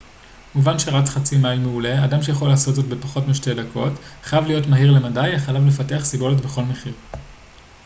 מובן שרץ חצי-מייל מעולה אדם שיכול לעשות זאת בפחות משתי דקות חייב להיות מהיר למדי אך עליו לפתח סיבולת בכל מחיר